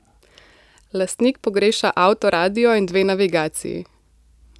Lastnik pogreša avtoradio in dve navigaciji.